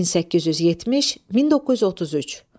1870-1933.